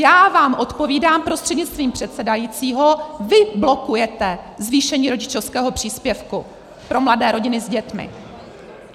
Já vám odpovídám prostřednictvím předsedajícího: Vy blokujete zvýšení rodičovského příspěvku pro mladé rodiny s dětmi!